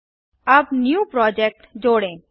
अब new project नया project जोड़ें